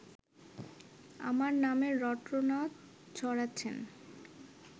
আমার নামে রটনা ছড়াচ্ছেন